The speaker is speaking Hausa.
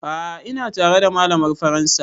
A'a ina tare da malamar faransa